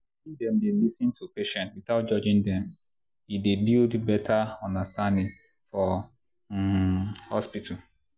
if dem dey lis ten to patients without judging them e dey build better understanding for um hospital.